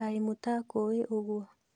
Kaĩ mũtakũĩ ũguo?